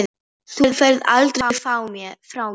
Þú ferð aldrei frá mér.